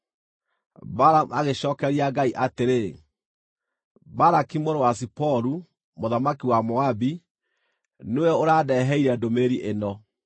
Balamu agĩcookeria Ngai atĩrĩ, “Balaki mũrũ wa Ziporu, mũthamaki wa Moabi, nĩwe ũrandeheire ndũmĩrĩri ĩno: